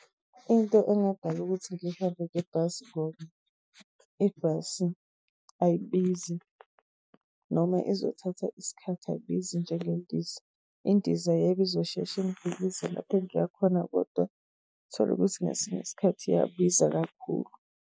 Into engadala ukuthi ngihambe ngebhasi ngoba ibhasi ayibizi noma izothatha isikhathi ayibizi njengendiza. Indiza yebo izoshesha ingifikise lapho engiyakhona, kodwa thole ukuthi ngesinye isikhathi iyabiza kakhulu.